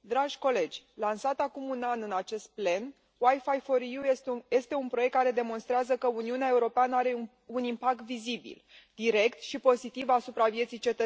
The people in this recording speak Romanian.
Lansat acum un an în acest plen, este un proiect care demonstrează că Uniunea Europeană are un impact vizibil, direct și pozitiv asupra vieții cetățenilor.